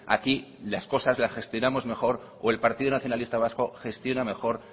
aquí las cosas las gestionamos mejor o el partido nacionalista vasco gestiona mejor